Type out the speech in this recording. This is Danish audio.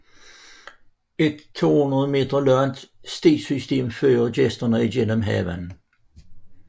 Et 200 meter langt stisystem fører gæsterne igennem haven